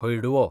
हळडुवो